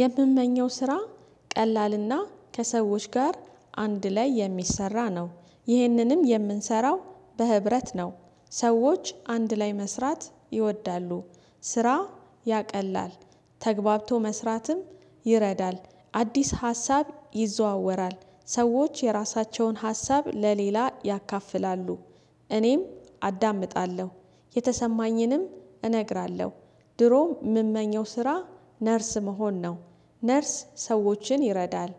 የምመኘው ስራ ቀላልና ከሰዎች ጋር አንድ ላይ የሚሰራ ነው። ይህንንም የምንሰራው በህብረት ነው። ሰዎች አንድ ላይ መስራት ይወዳሉ። ስራ ያቀላል ተግባብቶ መስራትም ይረዳል። አዲስ ሀሳብ ይዘዋወራል ሰዎች የራሳቸውን ሀሳብ ለሌላ ያካፍላሉ። እኔም አዳምጣለሁ የተሰማኝንም እነግራለሁ። ድሮም የምመኘው ስራ ነርስ መሆን ነው። ነርስ ሰዎችን ይረዳል።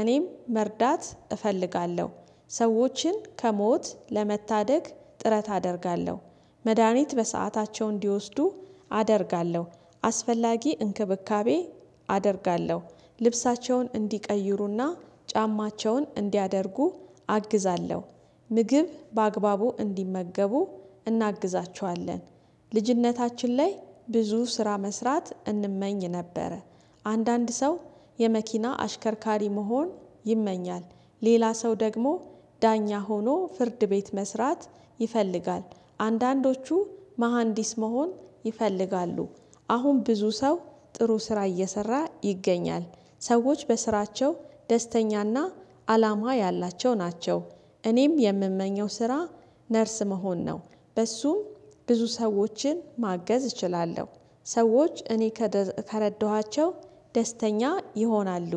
እኔም መርዳት እፈልጋለሁ። ሰዎችን ከሞት ለመታደግ ጥረት አደርጋለሁ። መድሃኒት በሰአታቸው እንዲወስዱ አደርጋለሁ። አስፈላጊ እንክብካቤ አደርጋለሁ። ልብሳቸውን እንዲቀይሩና ጫማቸውን እንዲያደርጉ አግዛለሁ። ምግብ በአግባቡ እንዲመገቡ እናግዛቸዋለን። ልጅነታችን ላይ ብዙ ስራ መስራት እንመኝ ነበረ። አንዳንድ ሰው የመኪና አሽከርካሪ መሆን ይመኛል። ሌላ ሰው ደግሞ ዳኛ ሆኖ ፍርድ ቤት መስራት ይፈልጋል። አንዳንዶቹ መሃንዲስ መሆን ይፈልጋሉ። አሁን ብዙ ሰው ጥሩ ስራ እየሰራ ይገኛል። ሰዎች በስራቸው ደስተኛና አላማ ያላቸው ናቸው። እኔም የምመኘው ስራ ነርስ መሆን ነው። በሱም ብዙ ሰዎችን ማገዝ እችላለሁ። ሰዎች እኔ ከረዳኋቸው ደስተኛ ይሆናሉ።